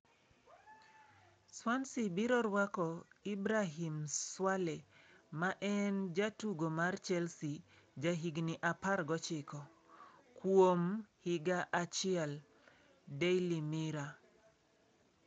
Swansea biro rwako Hibrahim Swale ma en jatugo mar Chelsea jahigni 19, kuom higa achiel (Daily Mirror).